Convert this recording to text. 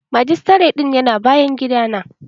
Majistare ɗin ya na bayan gida na